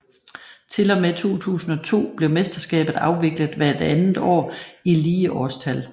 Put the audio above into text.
Til og med 2002 blev mesterskabet afviklet hvert andet år i lige årstal